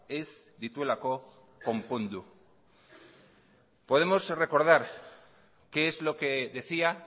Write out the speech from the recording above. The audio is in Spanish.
ez dituelako konpondu podemos recordar qué es lo que decía